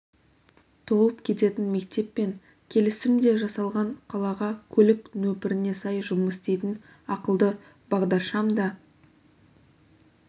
толып кететін мектеппен келісім де жасалған қалаға көлік нөпіріне сай жұмыс істейтін ақылды бағдаршам да